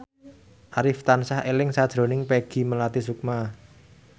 Arif tansah eling sakjroning Peggy Melati Sukma